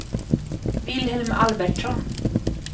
Vilhelm Albertsson